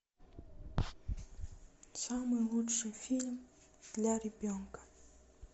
самый лучший фильм для ребенка